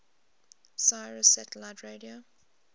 sirius satellite radio